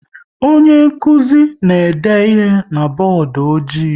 Onye nkụzi na-ede ihe na bọọdụ ọjị